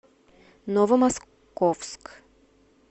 новомосковск